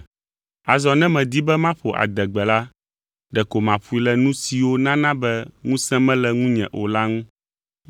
Azɔ ne medi be maƒo adegbe la, ɖeko maƒoe le nu siwo nana be ŋusẽ mele ŋunye o la ŋu.